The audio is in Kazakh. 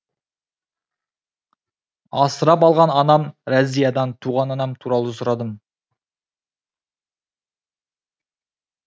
асырап алған анам разиядан туған анам туралы сұрадым